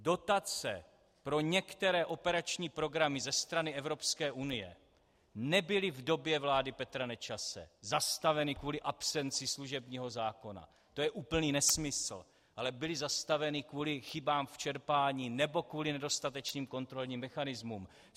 Dotace pro některé operační programy ze strany Evropské unie nebyly v době vlády Petra Nečase zastaveny kvůli absenci služebního zákona, to je úplný nesmysl, ale byly zastaveny kvůli chybám v čerpání nebo kvůli nedostatečným kontrolním mechanismům.